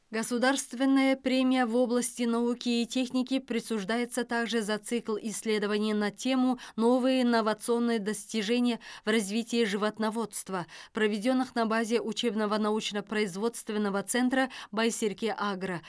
государственная премия в области науки и техники присуждается также за цикл исследований на тему новые иновационные достижения в развитии животноводства проведенных на базе учебного научно производственного центра байсерке агро